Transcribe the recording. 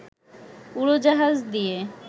উড়োজাহাজ দিয়ে